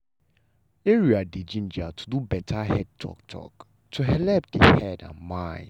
area dey gingered to do better head talk-talk to helep the head and mind.